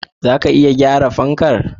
Zaka iya gyara fankar?